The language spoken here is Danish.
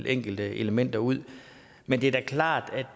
enkelte elementer ud men det er da klart